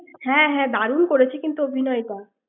হ্যাঁ হ্যাঁ দারুন করেছে কিন্তু অভিনয়টা ৷